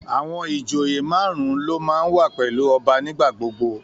Àwọn ìjòyè marun-un ló máa ń wà pẹ̀lú ọba nigbagbogbo